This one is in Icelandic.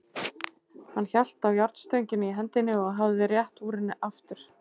Hann hélt á járnstönginni í hendinni og hafði rétt úr henni aftur.